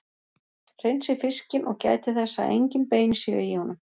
Hreinsið fiskinn og gætið þess að engin bein séu í honum.